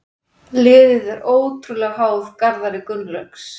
Liðið er ótrúlega háð Garðari Gunnlaugs.